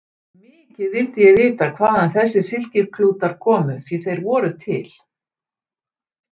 Mikið vildi ég vita hvaðan þessir silkiklútar komu, því þeir voru til!